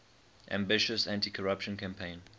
ambitious anticorruption campaign